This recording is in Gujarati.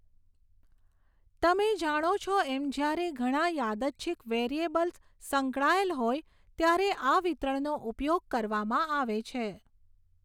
તમે જાણો છો એમ જ્યારે ઘણા યાદચ્છિક વેરિયેબલ્સ સંકળાયેલ હોય ત્યારે આ વિતરણનો ઉપયોગ કરવામાં આવે છે.